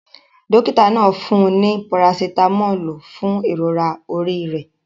Dókítà náà fún un ní parasitámọ́lù fún ìrora orí rẹ̀.